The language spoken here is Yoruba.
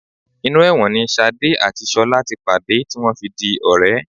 Inú ẹ̀wọ̀n ni ṣadé àti ṣọlá ti pàdé tí wọ́n fi di ọ̀rẹ́